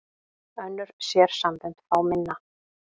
Önnur sérsambönd fá minna